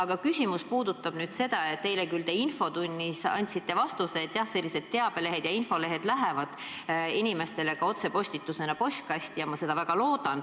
Mu küsimus puudutab aga seda, et eile te andsite infotunnis vastuse, et jah, teabelehed saadetakse inimestele otsepostitusena postkasti – ma väga loodan, et seda tehakse.